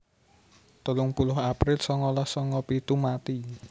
telung puluh april sangalas sanga pitu mati